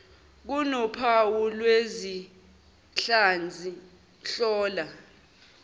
kunophawu lwezinhlansi hlola